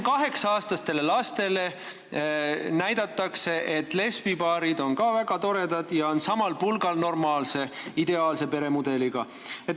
Kaheksa-aastastele lastele näidatakse, et lesbipaarid on ka väga toredad ja samal pulgal normaalse, ideaalse peremudeliga.